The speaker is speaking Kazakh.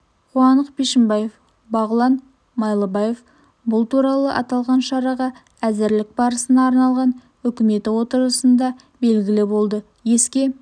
қуандық бишімбаев бағылан майлыбаев бұл туралы аталған шараға әзірлік барысына арналған үкіметі отырысында белгілі болды еске